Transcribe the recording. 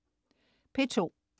P2: